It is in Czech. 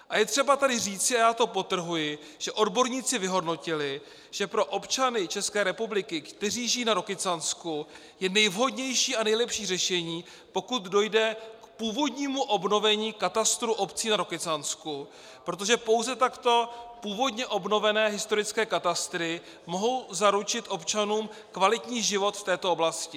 A je třeba tady říci, a já to podtrhuji, že odborníci vyhodnotili, že pro občany České republiky, kteří žijí na Rokycansku, je nejvhodnější a nejlepší řešení, pokud dojde k původnímu obnovení katastru obcí na Rokycansku, protože pouze takto původně obnovené historické katastry mohou zaručit občanům kvalitní život v této oblasti.